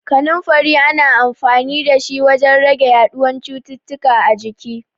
Kaninfari ana amfanin da shi wajen rage yaɗuwan cututtuka a jiki.